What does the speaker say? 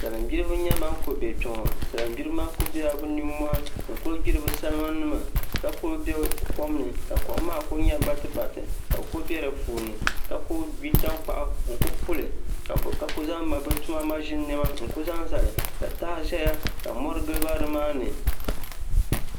Salin gbiribi n nyɛ ban ku bɛ kpɛ ŋo salin gbiribi maa ku biɛla bi nimmohi n ku gbiri bi salima nima ka ku bɛ kom ni ka kom maa ku nyɛ batibati ka bi ku bɛ di puuni ka ku gbi tankpaɣu n ku puli ka ku zaŋ bi tuma maʒini niɛma n ku zaŋ zali ka taha ʒɛya ka mori giliba nimaani